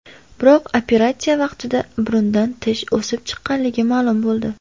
Biroq operatsiya vaqtida burundan tish o‘sib chiqqanligi ma’lum bo‘ldi.